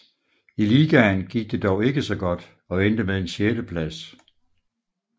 I ligaen gik det dog ikke så godt og endte med en sjetteplads